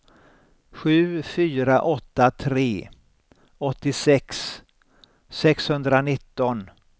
sju fyra åtta tre åttiosex sexhundranitton